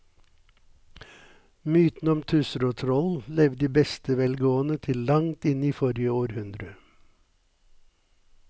Mytene om tusser og troll levde i beste velgående til langt inn i forrige århundre.